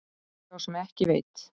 Spyr sá sem ekki veit.